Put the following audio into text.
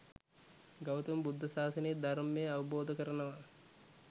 ගෞතම බුද්ධ ශාසනයේ ධර්මය අවබෝධ කරනවා